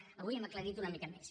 avui ho hem aclarit una mica més